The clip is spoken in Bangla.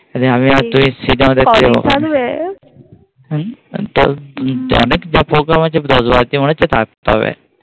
আমি আর তুমি সিনেমা দেখতে যাবো আর কদিন থাকবে